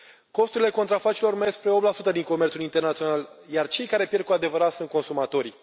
Costurile contrafacerilor merg spre 8 din comerțul internațional, iar cei care pierd cu adevărat sunt consumatorii.